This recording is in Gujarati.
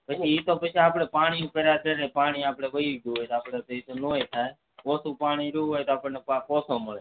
પછી એતો પછી આપને પાણી ઉપર આધાર રે પાણી આપડે વાયુ જ હોય તો આપડે ન પણ થાય ઓછુ પાણી વેરું હોય તો પાક ઓછો મળે